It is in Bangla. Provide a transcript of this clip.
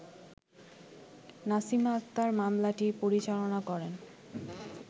নাসিমা আকতার মামলাটি পরিচালনা করেন